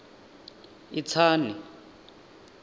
itsani